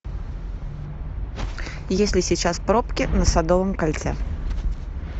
есть ли сейчас пробки на садовом кольце